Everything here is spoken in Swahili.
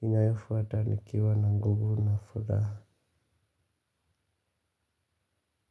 Inayofuata nikiwa na nguvu na furaha.